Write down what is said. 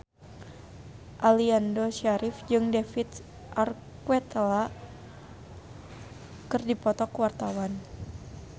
Aliando Syarif jeung David Archuletta keur dipoto ku wartawan